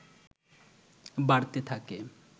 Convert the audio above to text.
বাড়তে থাকে